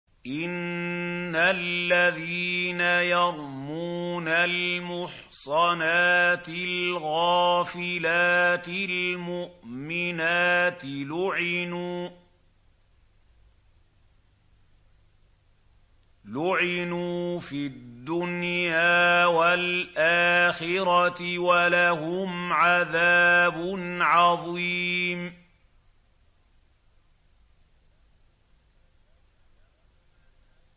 إِنَّ الَّذِينَ يَرْمُونَ الْمُحْصَنَاتِ الْغَافِلَاتِ الْمُؤْمِنَاتِ لُعِنُوا فِي الدُّنْيَا وَالْآخِرَةِ وَلَهُمْ عَذَابٌ عَظِيمٌ